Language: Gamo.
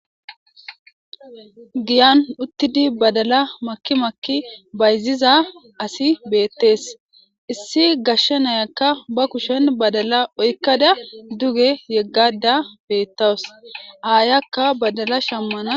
Giyan uttidi badala makki makki bayziza asi beetes. Issi gashe nayaka ba kushen badala oykada duge yegashe beetawus. Aayaka badala shammana yizays beetees.